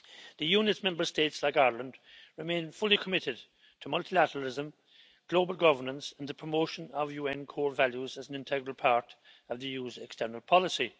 The Union's Member States like Ireland remain fully committed to multilateralism, global governance and the promotion of UN core values as an integral part of the EU's external policy.